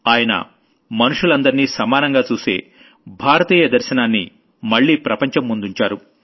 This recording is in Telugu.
ఆయన మనుషులందర్నీ సమానంగా చూసే భారతీయ దర్శనాన్ని మళ్లీ ప్రపంచం ముందుంచారు